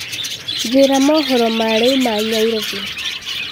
njĩĩra mohoro ma riu ma nyairobi